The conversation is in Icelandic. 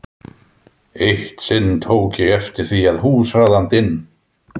Eitt sinn tók ég eftir því að húsráðandinn